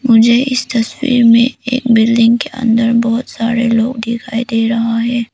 मुझे इस तस्वीर में एक बिल्डिंग के अंदर बहुत सारे लोग दिखाई दे रहा है।